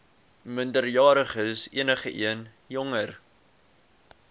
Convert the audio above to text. minderjariges enigeen jonger